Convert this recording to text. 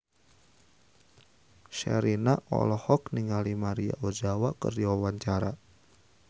Sherina olohok ningali Maria Ozawa keur diwawancara